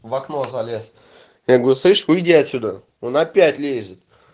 в окно залез я говорю слышь выйди отсюда он опять лезет